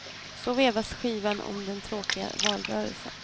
Så vevas skivan om den tråkiga valrörelsen.